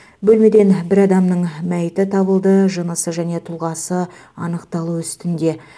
бөлмеден бір адамның мәйіті табылды жынысы және тұлғасы анықталу үстінде